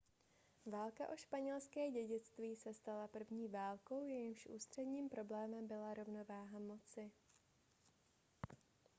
válka o španělské dědictví se stala první válkou jejímž ústředním problémem byla rovnováha moci